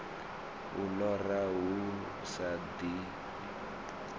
u lora hu sa ḓifhi